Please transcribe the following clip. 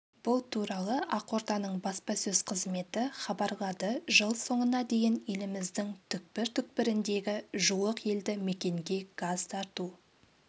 бұл туралы ақорданың баспасөз қызметі хабарлады жыл соңына дейін еліміздің түкпір-түкпіріндегі жуық елді мекенге газ тарту